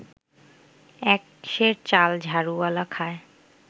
এক সের চাল ঝাড়ুওয়ালা খায়